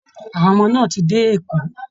Àwọn ọmọ náà ti dé Èkó